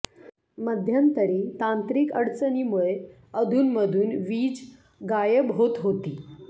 मध्यंतरी तांत्रिक अडचणीमुळे अधूनमधून वीज गायब होत होती